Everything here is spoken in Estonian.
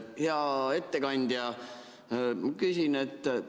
Hea ettekandja!